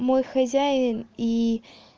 мой хозяин и